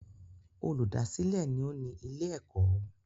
Olùdásìlẹ̀ ni ó ní ilé-ẹ̀kọ́.